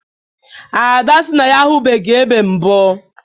Ada sị na ya ahụbeghị ebe mbụ